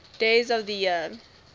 days of the year